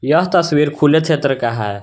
यह तस्वीर खुला क्षेत्र का है।